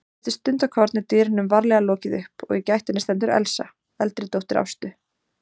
Eftir stundarkorn er dyrunum varlega lokið upp og í gættinni stendur Elsa, eldri dóttir Ástu.